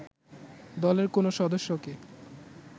দলের কোনও সদস্যকে